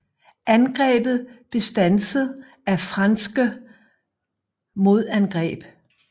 Angrebet blev standset af frasnke modangreb